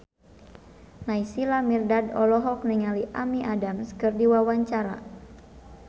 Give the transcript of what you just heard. Naysila Mirdad olohok ningali Amy Adams keur diwawancara